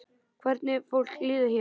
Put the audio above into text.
Hvernig fólki liði hér.